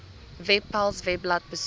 webpals webblad besoek